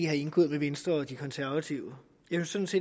har indgået med venstre og de konservative jeg synes